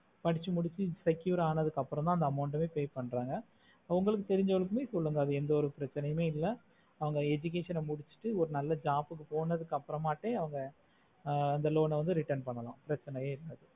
படிச்சி முடிச்சி secure ஆனதுக்கு அப்புறம் தா அந்த amount pay பண்ணுறாங்க அவங்களுக்கு தெரிஜா வரைக்கும் மே சொல்லுங்க சொல்லுங்க அந்த education ஆஹ் முடிச்சிட்டு ஒரு நல்ல job கு போனதுக்கு அப்புறம் அவங்க அந்த loan ஆஹ் return பண்ணல பிரச்னையா இல்ல